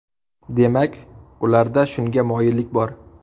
Demak, ularda shunga moyillik bor.